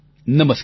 નમસ્કાર